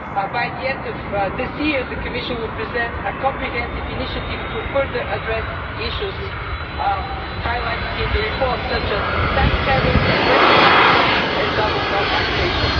By the end of this year, the Commission will present a comprehensive initiative to further address issues highlighted in the report, such as tax havens, aggressive tax planning and double non taxation.